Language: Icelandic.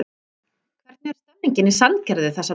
Hvernig er stemmningin í Sandgerði þessa dagana?